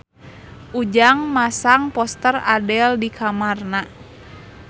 Ujang masang poster Adele di kamarna